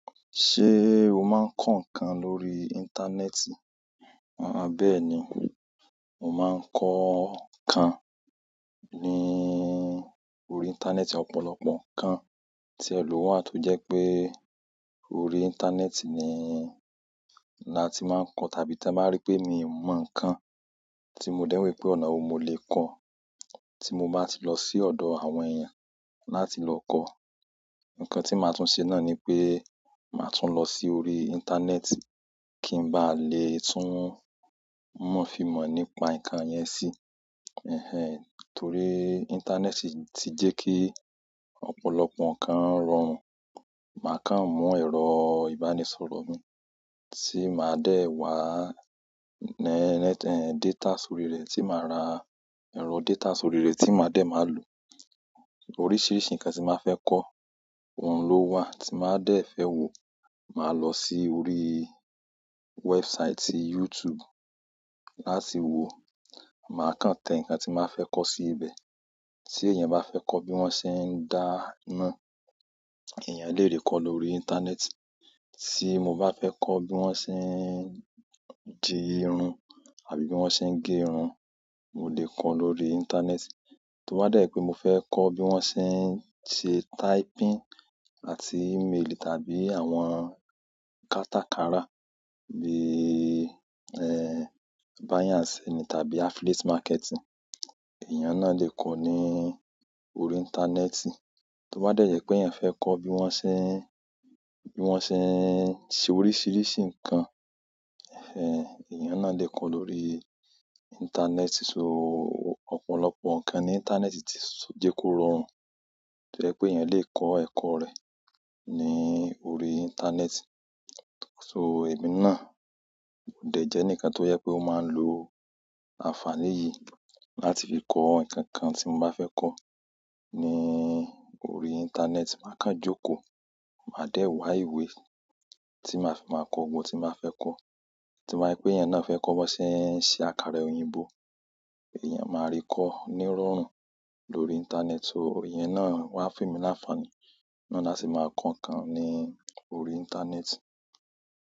Ṣé o máa ń kọ́ nǹkan lórí íńtánẹ́ẹ̀tì? Àbẹ́ẹ́ni, mo máa ń kọ́ kan ní orí íńtánẹ́ẹ̀tì. Ọ̀pọ̀lọpọ̀ nkan ti o wa to je pe orí intaaneti ni láti maa n ko tàbí to ba n ri pe mimo nkan ti mo de wo i pe ọ̀nà wo mo le ko ti mo ba ti lo si odo àwọn eeyan láti lo ko nkan ti ma tun se náà ni wípé maa tun lo sórí intaaneti ki n ba letu mo fi mo nípa nkan yen si torí íńtánẹ́ẹ̀tì ti jẹ́ kí ọ̀pọ̀lọpọ̀ nǹkan rọrùn. Màá kàn mú ẹ̀rọ ìbánisọ̀rọ̀ mi tí máa dẹ̀ wá data sórire tí màá rà, ẹ̀rọ data sórire tí màá dẹ̀ máa lò. Oríṣìíríṣìí nǹkan tí màá fẹ́ kọ́, òun ló wà tí màá de fẹ́ wò. Màá lọ sí orí website YouTube láti wò. Màá kàn te nǹkan tí màá fẹ́ kọ́ sí ibẹ̀. Tí èèyàn bá fẹ́ kọ́ bí wọ́n ṣe ń dá ńá, èèyàn lè rí kọ́ lórí íńtánẹ́ẹ̀tì. Tí mo bá fẹ́ kọ́ bí wọ́n ṣe ń di irun àbí bí wọ́n ṣe ń ge irun, mo lè kọ́ lórí íńtánẹ́ẹ̀tì. Tobá dẹ́ẹ̀ pé mo fẹ́ kọ́ bí wọ́n ṣe ń ṣe typing àti email tàbí àwọn kátàkárà ní, buying and selling tàbí affiliate marketing, èèyàn náà lè kọ́ ní orí íńtánẹ́ẹ̀tì. Tobá dẹ́ẹ̀ yẹ pé èèyàn fẹ́ kọ́ bí wọ́n ṣe ń, bí wọ́n ṣe ń ṣe oríṣìíríṣìí nǹkan, èèyàn náà le kọ́ lórí íńtánẹ́ẹ̀tì. So ópọ̀lọpọ̀ nǹkan ní íńtánẹ́ẹ̀tì tí je kó rọrùn tó yẹ́ pé èèyàn lè ko ẹ̀kọ́ rẹ̀ ní orí íńtánẹ́ẹ̀tì. So èmi náà dẹ̀ jẹ́ enikan tó yẹ pé ó máa ń lo àǹfàní yìí láti fi kọ́ nǹkankan tí mo bá fẹ́ kọ́ ní orí íńtánẹ́ẹ̀tì. Màá kàn jókòó, màá dẹ̀ wá ìwé tí màá fi máa kọ́ ohun tí màá fẹ́ kọ́. To ye pe èèyàn náà fẹ́ kọ́ bí wọ́n ṣe ń ṣe àkàrà òyìnbó, èèyàn máa rí kọ́ nírọ̀rùn lórí íńtánẹ́ẹ̀tì. So iyen náà wá fe mi láǹfàní náà a sì máa ko nǹkan ní orí íńtánẹ́ẹ̀tì.